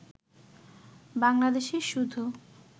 বাংলাদেশে শুধু